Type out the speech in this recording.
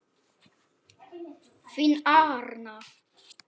Þín Arna.